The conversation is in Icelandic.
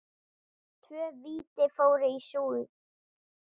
Tvö víti fóru í súginn.